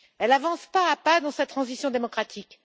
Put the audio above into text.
elle avance pas à pas dans sa transition démocratique.